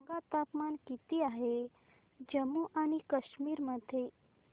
सांगा तापमान किती आहे जम्मू आणि कश्मीर मध्ये